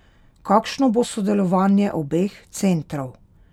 Kakšno bo sodelovanje obeh centrov?